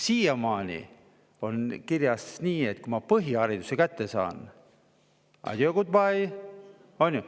Siiamaani oli kirjas, et kui ma põhihariduse kätte saan, siis on adieu, good bye, on ju?